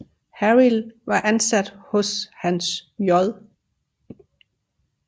Harild var ansat hos Hans J